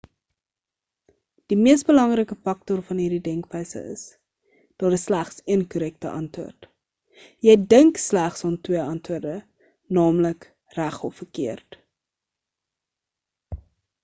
die mees belangrike faktor van hierdie denkwyse is daar is slegs een korrekte antwoord jy dink slegs aan twee antwoorde naamlik reg of verkeerd